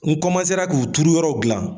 N k'u turuyɔrɔw gilan.